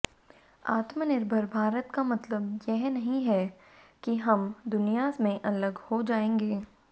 आत्मनिर्भर भारत का मतलब यह नहीं है कि हम दुनिया में अलग हो जाएंगे